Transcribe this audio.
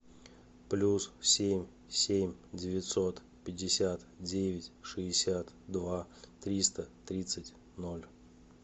плюс семь семь девятьсот пятьдесят девять шестьдесят два триста тридцать ноль